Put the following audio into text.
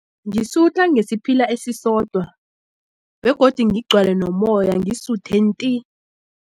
Ngisutha ngesiphila esisodwa begodu ngigcwale nomoya ngisuthe nti.